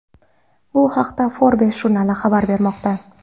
Bu haqda Forbes jurnali xabar bermoqda .